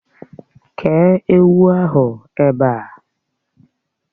Kéé ewu ahụ ebe a!